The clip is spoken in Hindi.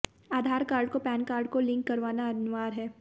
आधार कार्ड को पैन कार्ड को लिंक करवाना अनिवार्य है